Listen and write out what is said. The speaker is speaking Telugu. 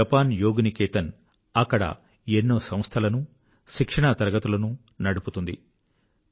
జపాన్ యోగ్ నికేతన్ అక్కడ ఎన్నో ఇన్స్టిట్యూట్స్ ట్రెయినింగ్ కోర్సెస్ నడుపుతుంది